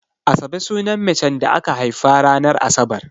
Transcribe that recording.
Asabe sunan macen da aka haifa ranar Asabar.